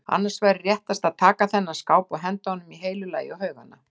Annars væri réttast að taka þennan skáp og henda honum í heilu lagi á haugana.